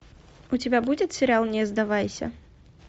у тебя будет сериал не сдавайся